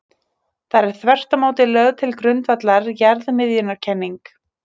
Þar er þvert á móti lögð til grundvallar jarðmiðjukenning.